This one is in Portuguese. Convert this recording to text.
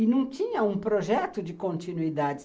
E não tinha um projeto de continuidade.